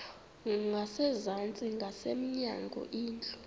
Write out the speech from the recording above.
ngasezantsi ngasemnyango indlu